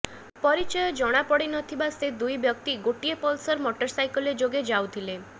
ପରିଚୟ ଜଣାପଡ଼ି ନ ଥିବା ସେ ଦୁଇ ବ୍ୟକ୍ତି ଗୋଟାଏ ପଲ୍ସର୍ ମଟର୍ସାଇକେଲ୍ ଯୋଗେ ଯାଉଥିଲେ